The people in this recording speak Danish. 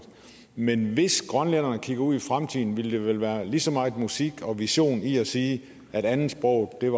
men hvis grønlænderne kigger ud i fremtiden ville der vel være lige så meget musik og vision i at sige at andetsproget